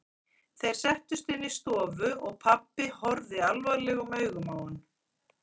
Þeir settust inn í stofu og pabbi horfði alvarlegum augum á hann.